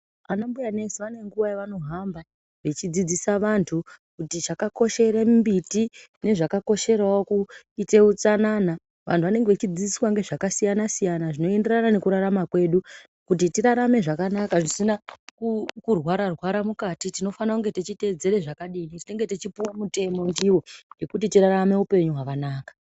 Ana mbuya nesi vane nguva yavano hamba vechi dzidzisa vantu kuti chaka koshere mbiti nezvaka kosherawo kuite utsanana vantu vanenge vechi dzidziswa nge zvaka siyana siyana zvino enderana neku rarama kwedu kuti tirarame zvakanaka zvisina ku rwara rwara mukati tino fana kunge tichi teedzere zvakadini isu tinenge tichi puwe mutemo ndiwo yekuti tirarame upenyu hwakanaka.